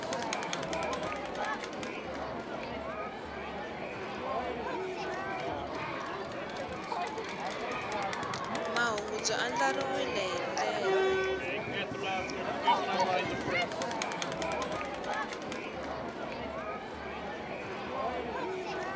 mahungu byi andlariwile hi ndlela